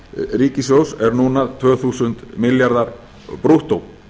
ríkissjóðs er núna tvö þúsund milljarðar brúttó